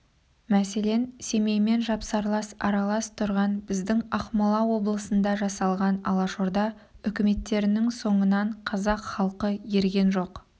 мәселен семеймен жапсарлас аралас тұрған біздің ақмола облысында жасалған алашорда үкіметтерінің соңынан қазақ халқы ерген жоқ